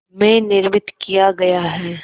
में निर्मित किया गया है